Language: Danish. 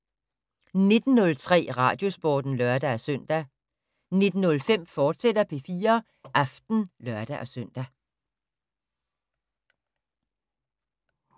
19:03: Radiosporten (lør-søn) 19:05: P4 Aften, fortsat (lør-søn)